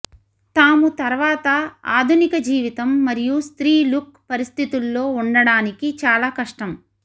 తాము తర్వాత ఆధునిక జీవితం మరియు స్త్రీ లుక్ పరిస్థితుల్లో ఉండడానికి చాలా కష్టం